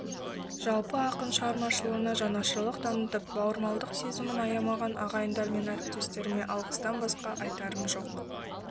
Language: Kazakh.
жалпы ақын шығармашылығына жанашырлық танытып бауырмалдық сезімін аямаған ағайындар мен әріптестеріме алғыстан басқа айтарым жоқ